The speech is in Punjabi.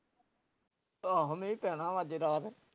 ਆਹੋ ਮੀਂਹ ਪੈਨਾ ਵਾ ਅੱਜ ਰਾਤ